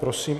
Prosím.